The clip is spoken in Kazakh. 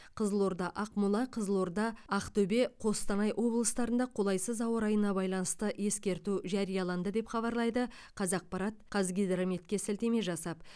қызылорда ақмола қызылорда ақтөбе қостанай облыстарында қолайсыз ауа райына байланысты ескерту жарияланды деп хабарлайды қазақпарт қазгидрометке сілтеме жасап